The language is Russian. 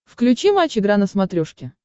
включи матч игра на смотрешке